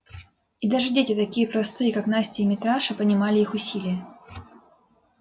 и даже дети такие простые как настя и митраша понимали их усилие